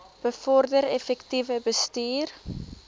bevorder effektiewe bestuur